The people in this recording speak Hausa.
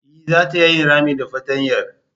E zata iya yin rami da fartanyar.